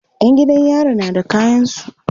Yan gidan yari na da kayansu